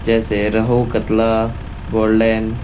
जैसे रहू कतला गोल्डन --